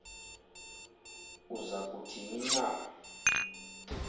uza kuthini na